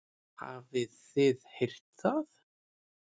Hafið þið heyrt það?